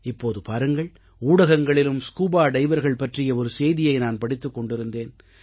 இப்போது பாருங்கள் ஊடகங்களிலும் ஸ்கூபா டைவர்கள் பற்றிய ஒரு செய்தியை நான் படித்துக் கொண்டிருந்தேன்